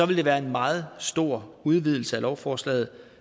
vil det være en meget stor udvidelse af lovforslaget